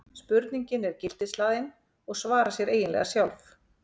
spurningin er gildishlaðin og svarar sér eiginlega sjálf